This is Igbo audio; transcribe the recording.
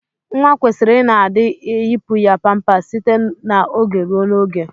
Nwa kwesiri ina adi eyipụ ya pampas site na oge ruo na oge.